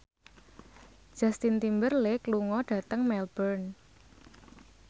Justin Timberlake lunga dhateng Melbourne